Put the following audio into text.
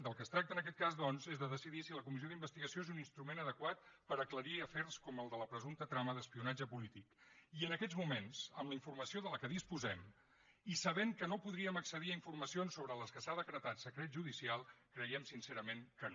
del que tracta en aquest cas doncs és de decidir si la comissió d’investigació és un cas adequat per aclarir afers com el de la presumpta trama d’espionatge polític i en aquests moments amb la informació de què disposem i sabent que no podríem accedir a informacions sobre les que s’ha decretat secret judicial creiem sincerament que no